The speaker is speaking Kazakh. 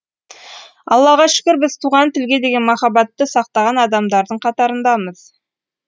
аллаға шүкір біз туған тілге деген махаббатты сақтаған адамдардың қатарындамыз